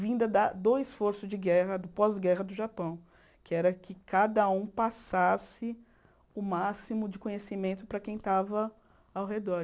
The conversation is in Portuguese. vinda da do esforço de guerra, do pós-guerra do Japão, que era que cada um passasse o máximo de conhecimento para quem estava ao redor.